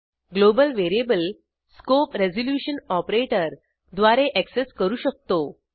global variable scope resolution operator द्वारे access करू शकतो